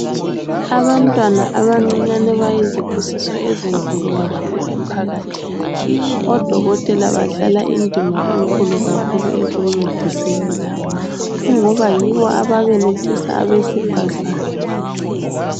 Abantwana abancinyane bayizibusiso ezinkulu kakhulu emphakathini odokotela badlala indima enkulu kakhulu ekuncediseni laba kungoba yibo ababelethisa abesifazane